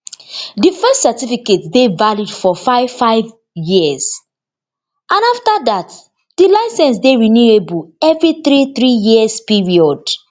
di first certificate dey valid for five five years and afta dat di license go dey renewable evri three three years period